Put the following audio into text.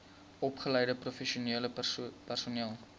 opgeleide professionele personeel